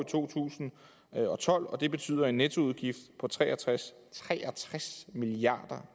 to tusind og tolv og at det betyder en nettoudgift på tre og tres 63 milliard